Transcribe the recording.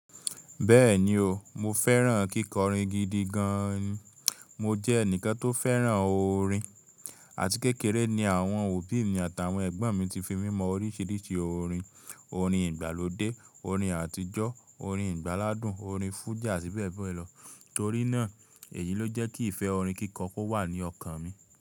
Bẹ́ẹ̀ni o, mo fẹ́ràn kíkọrin gidi gan-an ni. Mo jẹ́ ẹnìkan tó fẹ́ràn orin àti kékeré ni àwọn òbí mi àtàwọn ẹ̀gbọ́n mi ti fi mímọ oríṣiríṣi orin; orin ìgbàlódé, orin àtijọ́, orin ìgbáládùn, orin fújì àtí bẹ́ẹ̀ bẹ́ẹ̀ lọ. Torí náà, èyí ló jẹ́ kí ìfẹ́ orin kíkọ kó wà ní ọkàn mi.